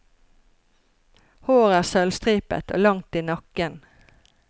Håret er sølvstripet, og langt i nakken.